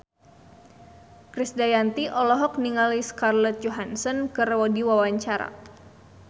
Krisdayanti olohok ningali Scarlett Johansson keur diwawancara